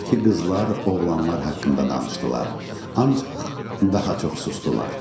Ordakı qızlar oğlanlar haqqında danışdılar, ancaq daha çox susdular.